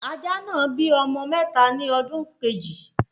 Ajá náà bí ọmọ mẹ́ta ni ọdún Kejì